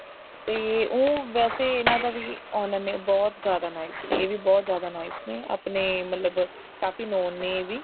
ਤੇ ਉਹ ਵੈਸੇ ਇਹਨਾ ਦਾ ਵੀ owner ਨੇ ਬਹੁਤ ਜਿਆਦਾ nice ਨੇ ਇਹ ਵੀ ਬਹੁਤ ਜਿਆਦਾ nice ਨੇ ਆਪਣੇ ਮਤਲਬ ਕਾਫੀ known ਨੇ ਇਹ ਵੀ